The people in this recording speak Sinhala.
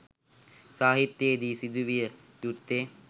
සාහිත්‍යයේ දී සිදු විය යුත්තේ